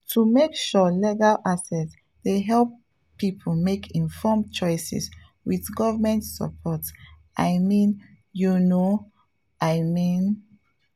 to make sure legal access dey help people make informed choices with government support i mean you know i mean.